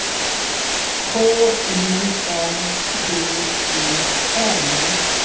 K U N D E N